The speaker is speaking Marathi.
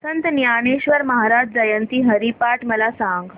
संत ज्ञानेश्वर महाराज जयंती हरिपाठ मला सांग